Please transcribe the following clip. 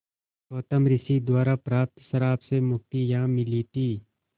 गौतम ऋषि द्वारा प्राप्त श्राप से मुक्ति यहाँ मिली थी